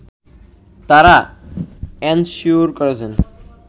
তারা এনশিওর করেছেন